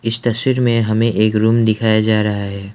इस तस्वीर में हमें एक रूम दिखाया जा रहा है।